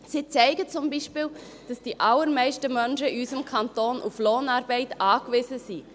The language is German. Sie zeigen zum Beispiel, dass die allermeisten Menschen in unserem Kanton auf Lohnarbeit angewiesen sind.